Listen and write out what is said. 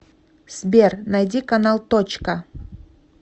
сбер найди канал точка